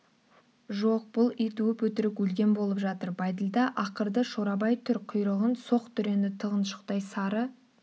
жоқ бұл ит өп-өтірік өлген болып жатыр бәйділда ақырды шорабай түр құйрығын соқ дүрені тығыншықтай сары